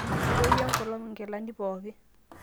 itoyio enkolong nkilani pooki